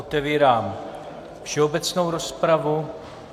Otevírám všeobecnou rozpravu.